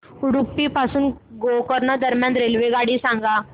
उडुपी पासून गोकर्ण दरम्यान रेल्वेगाडी सांगा